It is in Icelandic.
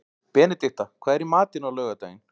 Benedikta, hvað er í matinn á laugardaginn?